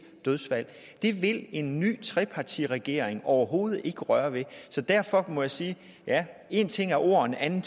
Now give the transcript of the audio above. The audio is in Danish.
dødsfald det vil en ny trepartiregering overhovedet ikke røre ved derfor må jeg sige én ting er ord en anden